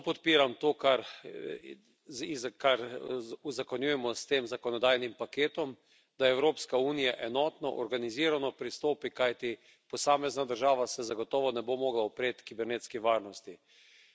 Zelo podpiram to, kar uzakonjujemo s tem zakonodajnim paketom, da Evropska unija enotno, organizirano pristopi, kajti posamezna država se zagotovo ne bo mogla upreti kibernetski nevarnosti.